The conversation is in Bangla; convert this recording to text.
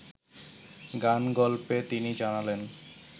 গান-গল্পে তিনি জানালেন